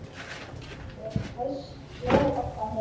Og hæst hló Abba hin.